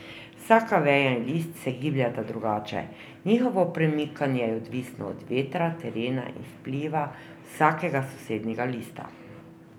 Vsaka veja in list se gibljeta drugače, njihovo premikanje je odvisno od vetra, terena in vpliva vsakega sosednjega lista.